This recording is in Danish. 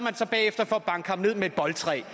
slå ham ned med et boldtræ